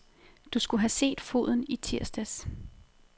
Du skulle have set foden i tirsdags.